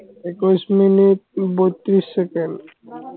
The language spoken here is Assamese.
একৈছ মিনিট বত্ৰিছ ছেকেন্ড